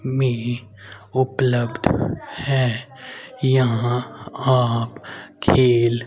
में उपलब्ध है यहां आप खेल--